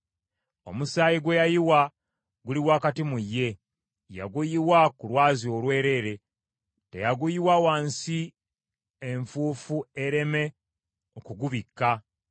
“ ‘Omusaayi gwe yayiwa guli wakati mu ye, yaguyiwa ku lwazi olwereere; teyaguyiwa wansi enfuufu ereme okugubikka.